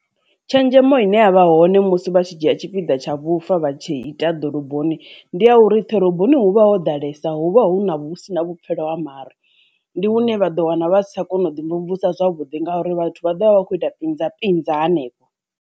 Tshenzhemo ine ya vha hone musi vha tshi dzhia tshipiḓa tsha vhufa vha tshi ita ḓoroboni ndi ya uri ḓiroboni huvha ho ḓalesa huvha huna husina vhupfhelo ha mare, ndi hune vha ḓo wana vha sa tsha kona u ḓi mvumvusa zwavhuḓi ngauri vhathu vha ḓovha vha khou ita pinza pinza hanefho.